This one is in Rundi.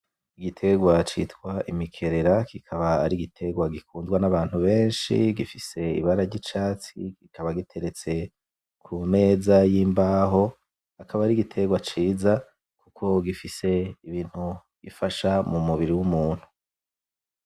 Igiterwa citwa imikerera kikaba ari igiterwa gikundwa nabantu beshi gifise ibara ryicatsi kikaba giteretse kumeza y'imbaho akaba ari igiterwa ciza kuko gifise ibintu gifasha mumubiri w'umuntu .